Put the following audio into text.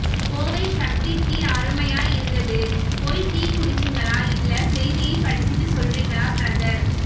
Kovai Sakthi tea அருமையா இருந்ததா போய் டீ குடிச்சீங்களா இல்லை செய்தி்யை படிச்சிட்டு சொல்றிங்களா பிரதர்